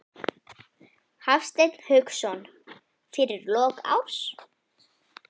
Hafsteinn Hauksson: Fyrir lok árs?